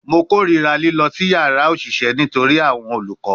Mo korira lilọ si yara oṣiṣẹ nitori awọn olukọ